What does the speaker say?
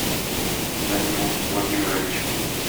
данил владимирович